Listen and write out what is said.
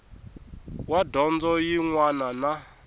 wa dyondzo yin wana na